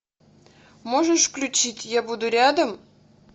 можешь включить я буду рядом